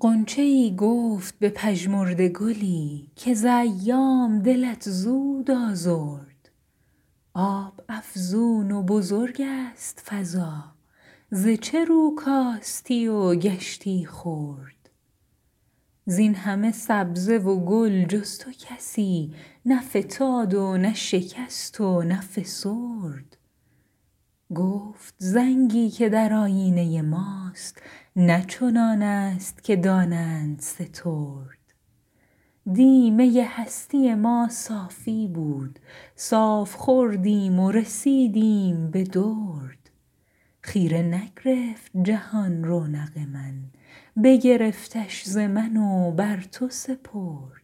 غنچه ای گفت به پژمرده گلی که ز ایام دلت زود آزرد آب افزون و بزرگست فضا ز چه رو کاستی و گشتی خرد زینهمه سبزه و گل جز تو کسی نه فتاد و نه شکست و نه فسرد گفت زنگی که در آیینه ماست نه چنانست که دانند سترد دی می هستی ما صافی بود صاف خوردیم و رسیدیم به درد خیره نگرفت جهان رونق من بگرفتش ز من و بر تو سپرد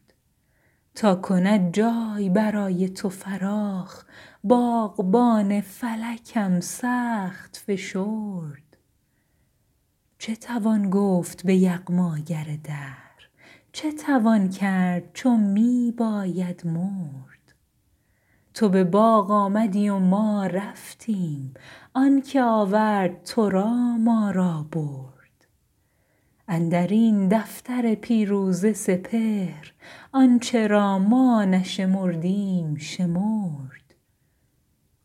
تا کند جای برای تو فراخ باغبان فلکم سخت فشرد چه توان گفت به یغماگر دهر چه توان کرد چو می باید مرد تو به باغ آمدی و ما رفتیم آنکه آورد ترا ما را برد اندرین دفتر پیروزه سپهر آنچه را ما نشمردیم شمرد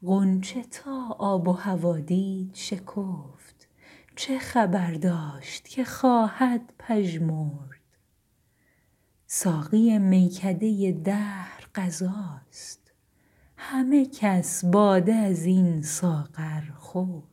غنچه تا آب و هوا دید شکفت چه خبر داشت که خواهد پژمرد ساقی میکده دهر قضاست همه کس باده ازین ساغر خورد